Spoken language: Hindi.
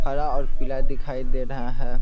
हरा और पीला दिखाई दे रहा है।